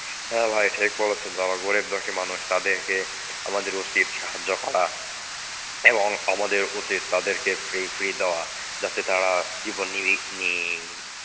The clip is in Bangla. হ্যাঁ ভাই ঠিক বলেছেন যারা গরীব দুঃখী মানুষ তাদের কে আমাদের উচিত সাহায্য করা এবং আমাদের উচিত তাদেরকে free free দেওয়া. যাতে তারা জীবন নিবির~ নি~